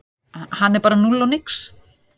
Hann er bara núll og nix